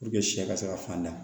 sɛ ka se ka fand